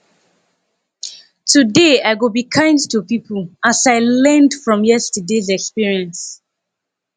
today i go be kind to people as i learned from yesterdays experience